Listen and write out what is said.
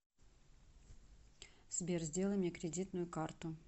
сбер сделай мне кредитную карту